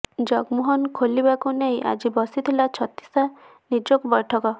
ଜଗମୋହନ ଖୋଲିବାକୁ ନେଇ ଆଜି ବସିଥିଲା ଛତିଶା ନିଯୋଗ ବୈଠକ